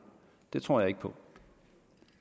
det tror jeg ikke på